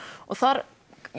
þar